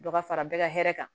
Dɔ ka fara bɛɛ ka hɛrɛ kan